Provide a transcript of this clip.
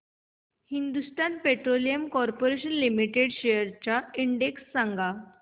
Hindustan petroleum corporation limited shares चा index सांगा